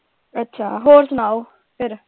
ਅੱਛਾ ਹੋਰ ਸੁਣਾਓ ਫੇਰ।